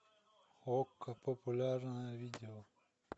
окко популярное видео